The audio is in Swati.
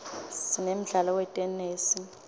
sinemdlalo wetenesi